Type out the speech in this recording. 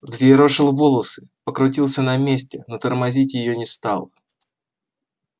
взъерошил волосы покрутился на месте но тормозить её не стал